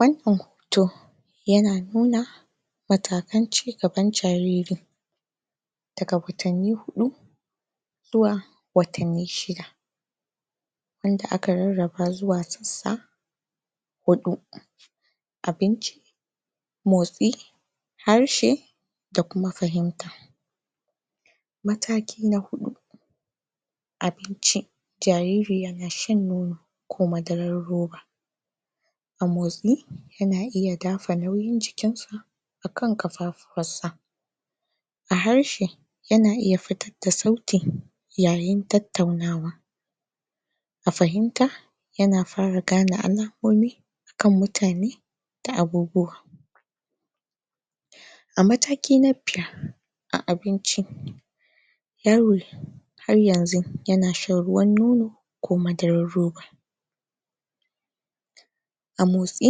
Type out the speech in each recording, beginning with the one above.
wannan hoto yana nuna matakan cigaban jariri daga watanni huɗu zuwa watanni shida wadda aka rarraba zuwa sassa huɗu abinci motsi harshe da kuma fahimta mataki na huɗu abinci jariri yana shan nono ko madarar roba a motsi yana iya dafa nauyin jikinsa akan ƙafafuwansa a harshe yana iya futar da sauti yayin tattaunawa a fahimta yana fara gane alamomi kan mutane ta agogo a mataki na biyar a abin ci yaro har yanzun yana shan ruwan nono ko madarar roba a motsi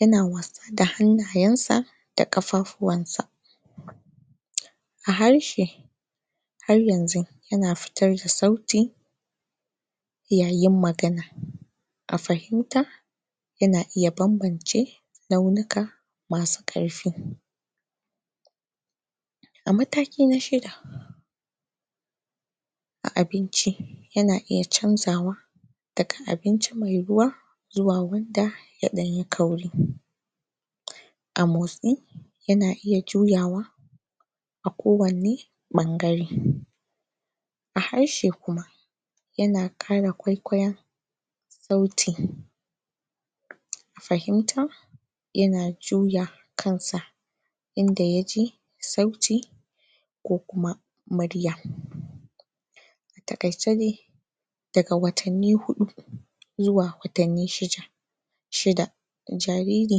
yana wasa da hannayensa da ƙafafuwansa a harshe har yanzu ana futar da sauti yayin magana a fahimta yana iya bambance launika masu ƙarfin a mataki na shida a abinci yana iya canja wa daga abinci mai ruwa zuwa wanda ya ɗan yi kauri a motsi yana iya juyawa a kowanne ɓangare a harshe kuma yana ƙara kwaikwaiyon sauti fafimta yana juya kansa inda ya ji sauti ko kuma murya taƙaice dai daga watanni huɗu zuwa watanni shida jariri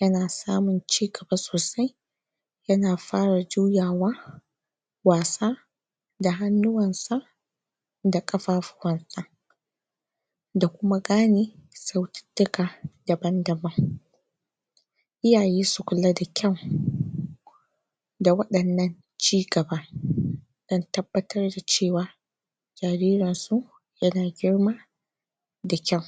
yana samun cigaba sosai yana fara juyawa wasa da hannuwansa da ƙafafuwansa da kuma gane saututtuka daban-daban iyaye su kula da kyau da waɗannan cigaba dan tabbatar da cewa jaririnsu yana girma da kyau.